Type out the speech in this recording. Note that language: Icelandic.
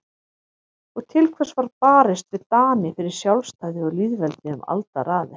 Og til hvers var barist við Dani fyrir sjálfstæði og lýðveldi um aldaraðir?